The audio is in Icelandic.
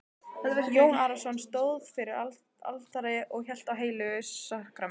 Jón Arason stóð fyrir altari og hélt á heilögu sakramenti.